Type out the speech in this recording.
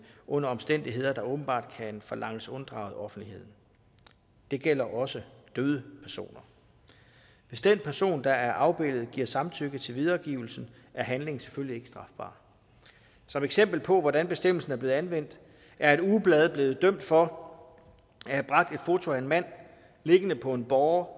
under omstændigheder der åbenbart kan forlanges unddraget offentligheden det gælder også døde personer hvis den person der er afbildet giver samtykke til videregivelsen er handlingen selvfølgelig ikke strafbar som eksempel på hvordan bestemmelsen er blevet anvendt er et ugeblad blevet dømt for at have bragt et foto af en mand liggende på en båre